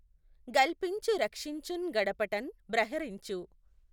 గల్పించు రక్షించుఁ గడపటఁ బ్రహరించు